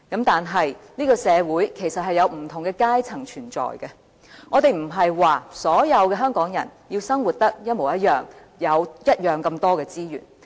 但是，這個社會其實是有不同的階層存在。我們不是說要所有香港人生活得一模一樣，有相同數量的資源。